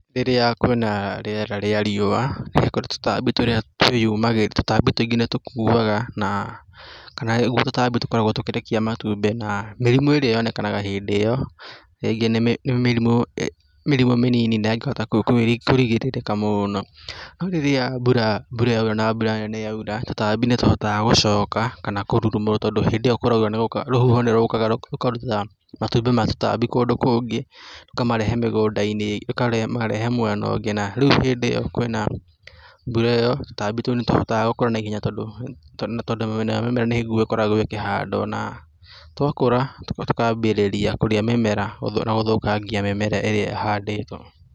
Rĩrĩa kwina rĩera rĩa riua nĩ kũrĩ tũtambi tũrĩa twĩyumagĩria, tũtambi tũingĩ nĩ tũkuaga na kana ũguo tũtambi tũkoragwo tũkĩrekia matumbĩ na mĩrimũ ĩrĩa yonekanaga hĩndĩ ĩyo rĩngĩ nĩ mĩrimũ mĩnini na ĩngĩhota kũrigĩrĩrĩka mũno no rĩrĩa mbura yoira na mbura nene yoira tũtambi nĩ tũhataga gũcoka kana kũrurumũrwo tondũ hĩndĩ ĩyo kũraura rũhuho nĩ rũkaga rũkahuruta matumbĩ ma tũtambi kũndũ kũngĩ rũkamarehe mũgũnda-inĩ, rũhamarehe mwena ũngĩ rĩu hĩndĩ ĩyo kwĩna mbura ĩyo tũtambi tũu nĩ tũhotaga gũkũra naihenya tondũ nayo mĩmera nĩguo ĩkoragwo ĩkĩhandwo na twakũra tũkambĩrĩria kũrĩa mĩmera na gũthaũkangia mĩmera ĩrĩa ĩhandĩtwo.